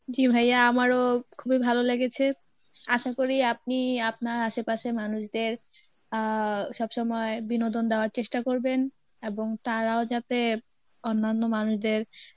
জী ভাইয়া আমারও খুবই ভালো লেগেছে, আশা করি আপনি আপনার আশেপাশের মানুষদের আহ সবসময় বিনোদন দেওয়ার চেষ্টা করবেন এবং তারাও যাতে অন্যান্য মানুষদের